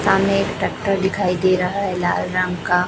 सामने एक टक्टर दिखाई दे रहा है लाल रंग का--